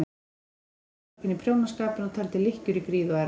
Hún virtist niðursokkin í prjónaskapinn og taldi lykkjur í gríð og erg.